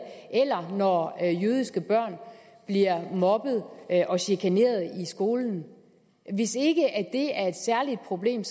eller når jødiske børn bliver mobbet og chikaneret i skolen hvis ikke det er et særligt problem